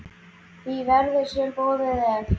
því verði, sem boðið er.